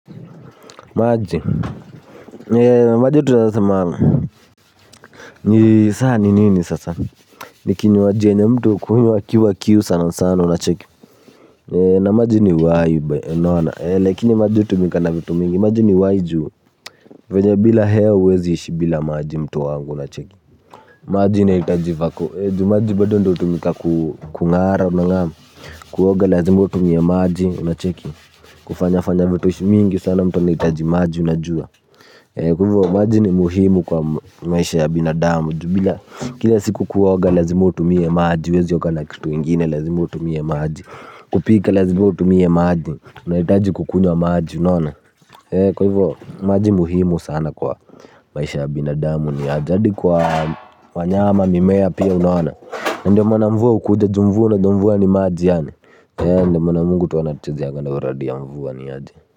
Maji, maji tunaweza sema ni saa ni nini sasa. Ni kinywaji yenye mtu hukunywa akiwa kiu sana sana unacheki. Na maji ni uhai, unaona. Lakini maji hutumika na vitu mingi, maji ni uhai ju. Venye bila hewa huwezi ishi bila maji mtu wangu unacheki. Maji inahitaji vako. Maji bado ndo hutumika kungara unangam. Kuoga lazima utumie maji unacheki. Kufanya fanya vitush mingi sana mtu anahitaji maji unajua. Kwa hivyo maji ni muhimu kwa maisha ya binadamu. Ju bila, kila siku kuoga lazima utumie maji huwezi oga na kitu ingine, lazima utumie maji. Kupika lazima utumie maji. Unahitaji kukunywa maji unaona. Kwa hivyo maji muhimu sana kwa maisha ya binadamu. Ni ya jadi kuwa wanyama mimea pia unaona. Na ndio maana mvua hukuja ju mvua unajua mvua ni maji yaani. Ndio maana Mungu mwana tu anatuchezeanga na uradi ya mvua niaje.